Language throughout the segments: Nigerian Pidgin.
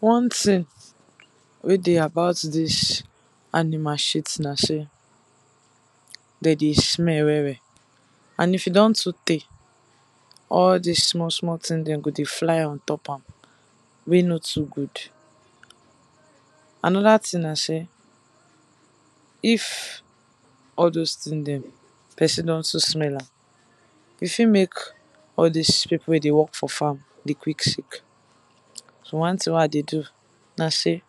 One thing wey dey about dis animal shit na sey, dem dey smell well well and if e don too tey, all dis small small thing dem go dey fly on top am wey no too good. Another thing na sey, if all doz thing dem person don too smell am, e fit make person wey dey work for farm dey quick sick, so one thing wey I dey do be sey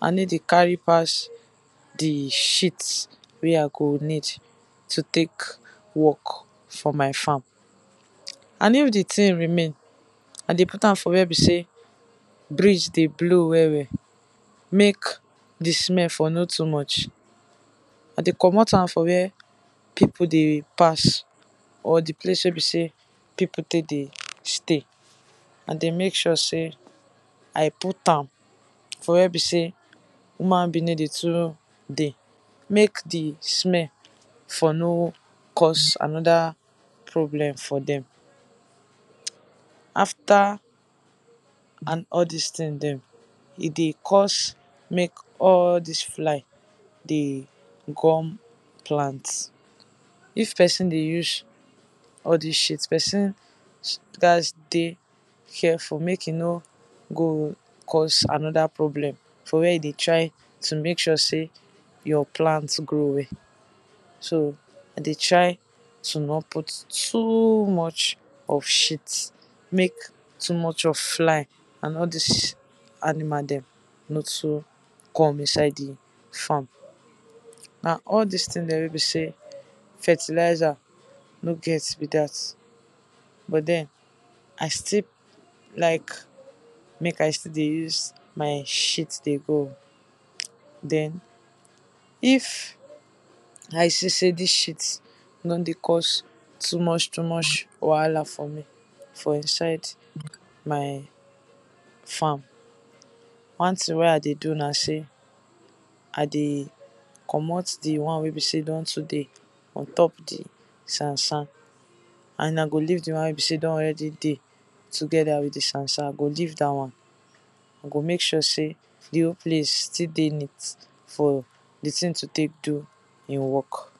I no dey carry pass di shit wey I go need to take work for my farm. And if di thing remain, I dey put am for where be sey breeze dey blow well well, make di smell for no too much, I dey komot am for where people dey pass, or for where be sey people dey stay, I d ey make sure sey I put am for where be sey human being no to too dey make di smell for no cause another problem for dem. After and all dis thing dem, e dey cause make all dis fly dey gum all dis plant. If person dey use all dis shit person gats dey careful make e no go cause another problem for where e dey try to make sure sey your plant grow well so I dey try to not put too much of shit, make too much of fly and all dis animal dem no too come inside di farm, na all dis thing dem wey be sey fertilizer no get be dat. But den I still like make I still dey use my shit dey grow, den if I see sey dis shit don dey cause too much too much wahala for me for inside my farm, one thing wey I dey do na sey, I dey komot di one wey be sey e don too dey on top di sand sand and I go leave di one sey be sey e don already dey together with di sand sand, I go leave dat one, I go make sure sey di whole place still dey neat for di thing to take do im work.